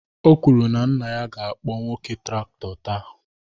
O kwuru na nna ya ga-akpọ nwoke traktọ taa.